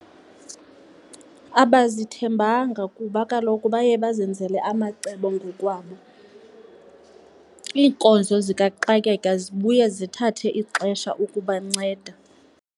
Abazithembanga kuba kaloku baye bazenzele amacebo ngokwabo. Iinkonzo zikaxakeka zibuye zithathe ixesha ukubanceda.